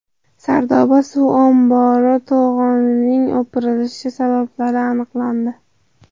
Sardoba suv ombori to‘g‘onining o‘pirilish sabablari aniqlandi.